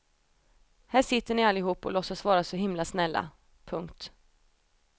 Här sitter ni allihop och låtsas vara så himla snälla. punkt